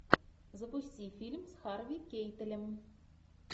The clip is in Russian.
запусти фильм с харви кейтелем